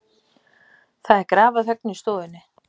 Það er grafarþögn í stofunni.